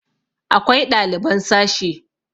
akwai ɗaliban sashe